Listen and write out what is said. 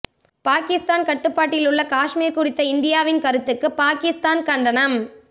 பாகிஸ்தான் கட்டுப்பாட்டிலுள்ள காஷ்மீர் குறித்த இந்தியாவின் கருத்துக்கு பாகிஸ்தான் கண்டனம்